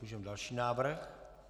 Můžeme další návrh.